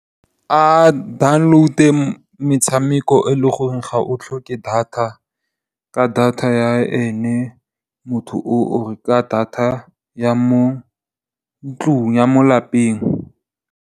A download-e metshameko e leng gore ga e tlhoke data ka data ya ene motho oo or ka data ya mo ntlung, ya mo lapeng.